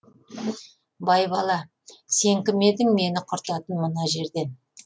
байбала сен кім едің мені құртатын мына жерден